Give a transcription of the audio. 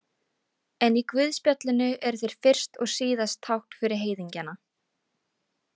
En í guðspjallinu eru þeir fyrst og síðast tákn fyrir heiðingjana.